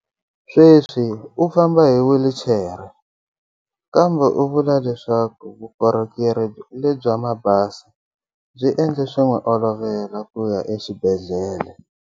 Sweswi u famba hi whilichere, kambe u vula leswaku vukorhokeri lebya mabazi byi endle swi n'wi olovela ku ya exibedhlele.